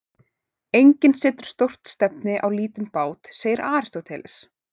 Enginn setur stórt stefni á lítinn bát, segir Aristóteles.